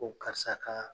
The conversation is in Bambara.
Ko karisa kaa